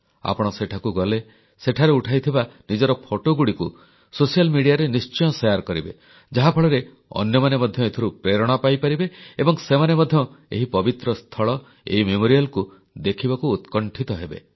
ଆପଣ ସେଠାକୁ ଗଲେ ସେଠାରେ ଉଠାଇଥିବା ନିଜର ଫଟୋଗୁଡ଼ିକୁ ସାମାଜିକ ଗଣମାଧ୍ୟମରେ ନିଶ୍ଚୟ ବାଣ୍ଟିବେ ଯାହାଫଳରେ ଅନ୍ୟମାନେ ମଧ୍ୟ ଏଥିରୁ ପ୍ରେରଣା ପାଇପାରିବେ ଏବଂ ସେମାନେ ମଧ୍ୟ ଏହି ପବିତ୍ର ସ୍ଥଳ ଏହି ସ୍ମାରକୀ ଦେଖିବାକୁ ଉତ୍କଣ୍ଠିତ ହେବେ